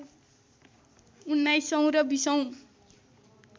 १९ औँ र २० औँ